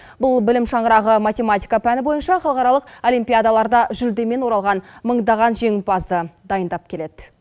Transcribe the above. бұл білім шаңырағы математика пәні бойынша халықаралық олимпиадаларда жүлдемен оралған мыңдаған жеңімпазды дайындап келеді